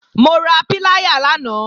Mo ra píláyà lánàá